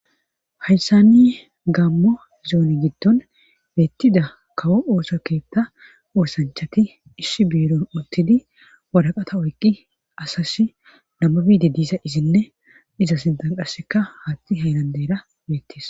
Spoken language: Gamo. Hayssani gaammo zooni giddon beettida kawo ooso keetta oosanchati ishshi biiro uttidi wadaqata oyqqi asas nama biide diisa izinne iza sintan qasseka haatti hayrandeyra beettis.